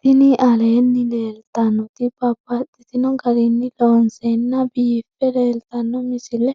Tinni aleenni leelittannotti babaxxittinno garinni loonseenna biiffe leelittanno misile